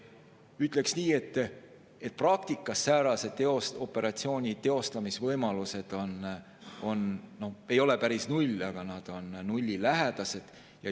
Ütleksin nii, et praktikas ei ole säärase operatsiooni teostamise võimalused päris null, aga need on nullilähedased.